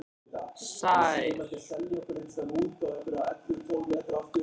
Sær